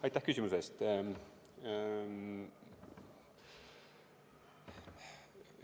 Aitäh küsimuse eest!